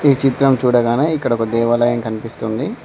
ఈ చిత్రం చూడగానే ఇక్కడ ఒక దేవాలయం కన్పిస్తుంది.